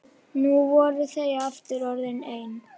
Nú voru þau aftur orðin ein.